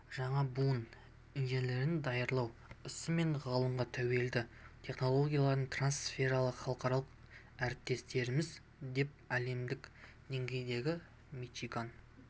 жаңа буын инженерлерін даярлау ісі мен ғылымға тәуелді технологиялар трансфертіндегі халықаралық әріптестеріміз деп әлемдік деңгейдегі мичиган